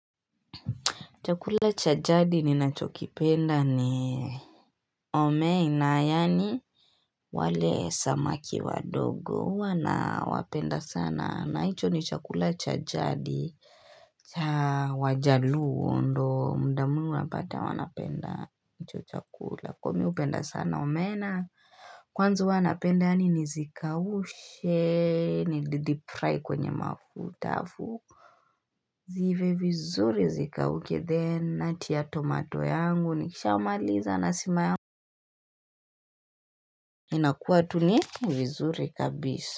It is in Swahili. Chakula cha jadi ninachokipenda ni omena yaani wale samaki wadogo huwa nawapenda sana. Na hicho ni chakula cha jadi cha wajaluo ndo muda mwingi unapata wanapenda hicho chakula. Kuwa mi hupenda sana omena kwanza huwa napenda yaani nizikaushe nideep fry kwenye mafuta alafu ziive vizuri zikauke then natia tomato yangu nikishamaliza na sima yangu inakuwa tu ni vizuri kabisa.